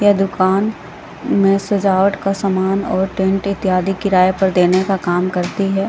दुकान में सजावट का सामान और टेंट इत्यादि किराए पर देने का काम करती है।